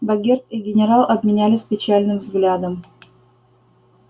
богерт и генерал обменялись печальным взглядом